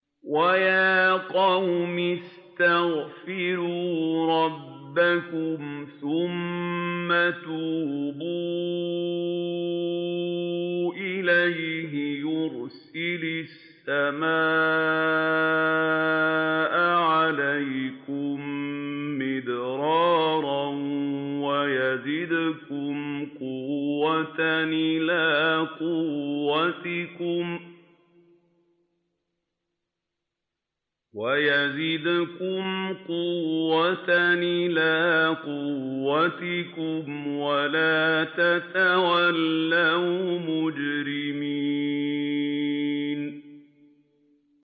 وَيَا قَوْمِ اسْتَغْفِرُوا رَبَّكُمْ ثُمَّ تُوبُوا إِلَيْهِ يُرْسِلِ السَّمَاءَ عَلَيْكُم مِّدْرَارًا وَيَزِدْكُمْ قُوَّةً إِلَىٰ قُوَّتِكُمْ وَلَا تَتَوَلَّوْا مُجْرِمِينَ